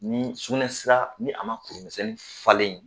Ni sukunɛsira, ni a ma kurumisɛnnin falen yen